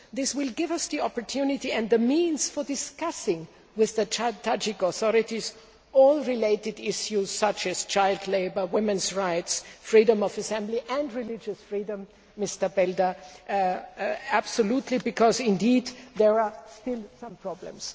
This will give us the opportunity and the means for discussing with the Tajik authorities all related issues, such as child labour, women's rights, freedom of assembly and religious freedom absolutely, Mr Belder, because there are still some problems.